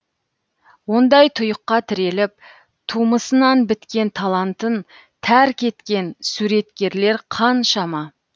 ондай тұйыққа тіреліп тумысынан біткен талантын тәрк еткен суреткерлер қаншама